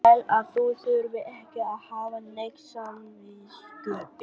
Bráðum fer ég suður og ræði við landshöfðingjann.